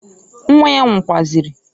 Nwa ya nwukwazịrị.